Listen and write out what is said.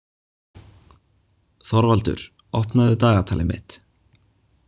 Þorvaldur, opnaðu dagatalið mitt.